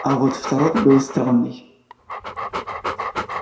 а вот второй был странный